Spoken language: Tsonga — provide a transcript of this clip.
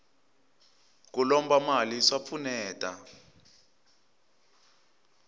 ku lomba mali swa pfuneta